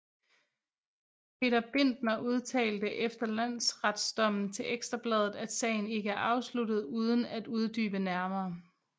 Peter Bindner udtalte efter landsretdommen til Ekstra Bladet at sagen ikke er afsluttet uden at uddybe nærmere